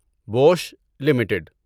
Bush limited